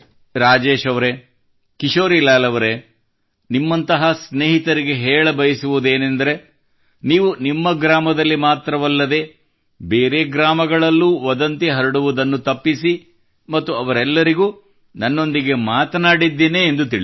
ರಾಜೇಶ್ ಅವರೇ ಕಿಶೋರಿಲಾಲ್ ಅವರೇ ನಿಮ್ಮಂತಹ ಸ್ನೇಹಿತರಿಗೆ ಹೇಳಬಯಸುವುದೇನೆಂದರೆ ನೀವು ನಿಮ್ಮ ಗ್ರಾಮದಲ್ಲಿ ಮಾತ್ರವಲ್ಲದೇ ಬೇರೆ ಗ್ರಾಮಗಳಲ್ಲೂ ವದಂತಿ ಹರಡುವುದನ್ನು ತಪ್ಪಿಸಿ ಮತ್ತು ಅವರೆಲ್ಲರಿಗೂ ನನ್ನೊಂದಿಗೆ ಮಾತನಾಡಿದ್ದೇನೆ ಎಂದು ತಿಳಿಸಿ